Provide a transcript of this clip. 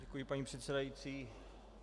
Děkuji, paní předsedající.